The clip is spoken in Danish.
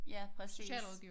Ja præcis